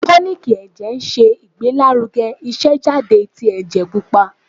Tonik ẹ̀jẹ̀ se Igbelaruge isejade ti ẹjẹ pupa.